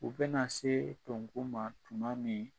U bɛna se to ma tuma min